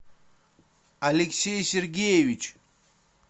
алексей сергеевич